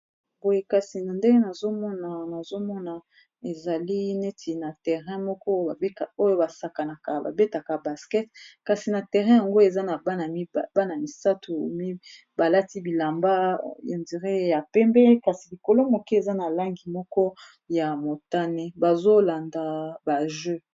boye kasi na nde nazomona ezali neti na terrain moko oyo basakanaka babetaka baskete kasi na terrain yango eza na bana misato mibalati bilamba ya ndire ya pembe kasi likolo moke eza na langi moko ya motane bazolanda ba je